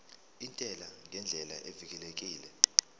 intela ngendlela evikelekile